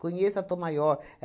Conheça a Tom Maior.